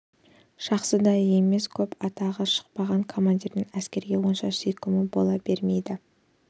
жақсы да емес көп атағы шықпаған командирдің әскерге онша сүйкімі бола бермейді